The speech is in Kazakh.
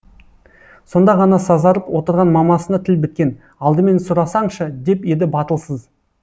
сонда ғана сазарып отырған мамасына тіл біткен алдымен сұрасаңшы деп еді батылсыз